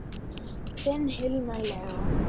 Þinn Hilmar Leó.